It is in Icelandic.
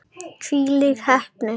Hvílík heppni!